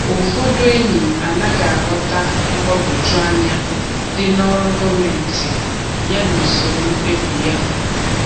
Ụfọdụ enyi anaghị aghọta mgbagwoju anya dị n’ọrụ gọọmentị ya na usoro mkpebi ya.